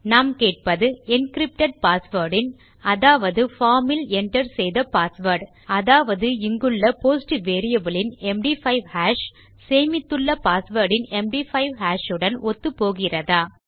நாம் கேட்பது encrypted password இன் அதாவது formஇல் enter செய்த பாஸ்வேர்ட் அதாவது இங்குள்ள போஸ்ட் வேரியபிள் இன் எம்டி5 ஹாஷ் சேமித்துள்ள பாஸ்வேர்ட் இன் எம்டி5 ஹாஷ் உடன் ஒத்துப்போகிறதா